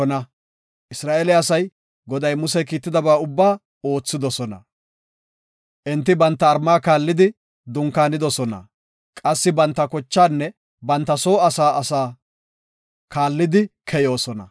Isra7eele asay, Goday Muse Kiittidaba ubbaa oothidosona. Enti banta mala kaallidi dunkaanidosona; qassi banta kochaanne banta soo asaa asaa kaallidi keyoosona.